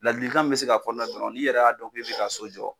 Ladilikan min bi se ka fɔ ale la dɔrɔn n'i yɛrɛ y'a dɔn k'i bɛ ka so jɔ.